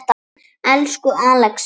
Elsku Axel minn.